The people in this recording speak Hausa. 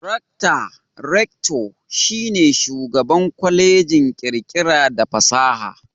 Rakta (Rector) shi ne Shugaban Kwallejin kirkira da fasaha.